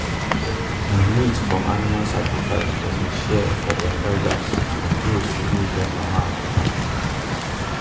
na meat from animal sacrifice dem dey share for dem elders and those who no get Papa and Mama